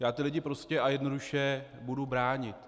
Já ty lidi prostě a jednoduše budu bránit.